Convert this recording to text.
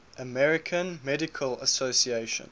american medical association